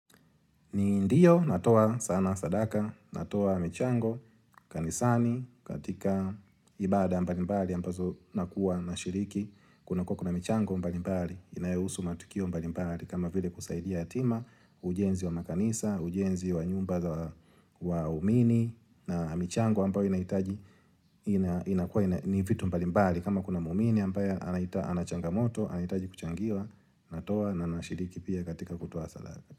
Ndiyo, natoa sana sadaka, natoa michango, kanisani, katika ibada mbalimbali, ambazo nakuwa nashiriki, kunakua kuna mchango mbalimbali, inayohusu matukio mbalimbali, kama vile kusaidia yatima ujenzi wa makanisa, ujenzi wa nyumba waumini, na michango ambayo inahitaji, inakua ni vitu mbalimbali, kama kuna muumini ambayo ana changamoto, anahitaji kuchangiwa, natoa na nashiriki pia katika kutoa sadaka.